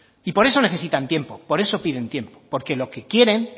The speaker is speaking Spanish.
y por eso necesitan tiempo por eso piden tiempo porque lo que quieren